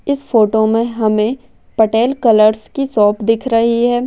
इस फोटो मैं हमे पटेल कलर्स की शोप दिख रही है।